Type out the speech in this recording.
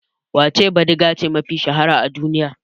Wace bidigace mafi shahara a duniya?